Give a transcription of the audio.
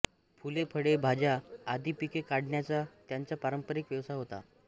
फुले फळे भाज्या आदी पिके काढण्याचा त्यांचा पारंपरिक व्यवसाय होता